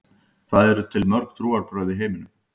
Hvað eru til mörg trúarbrögð í heiminum?